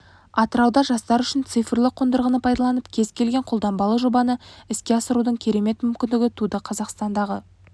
атырауда жастар үшін цифрлы қондырғыны пайдаланып кез келген қолданбалы жобаны іске асырудың керемет мүмкіндігі туды қазақстандағы